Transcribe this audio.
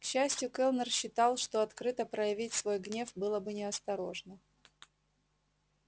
к счастью кэллнер считал что открыто проявить свой гнев было бы неосторожно